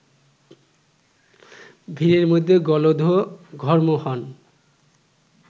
ভিড়ের মধ্যে গলদঘর্ম হন